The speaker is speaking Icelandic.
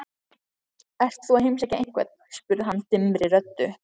Ert þú að heimsækja einhvern? spurði hann dimmri röddu.